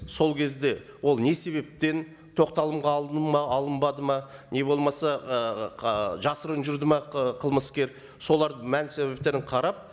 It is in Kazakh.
сол кезде ол не себептен тоқталымға алынды ма алынбады ма не болмаса ы жасырын жүрді ме ы қылмыскер солардың мән себептерін қарап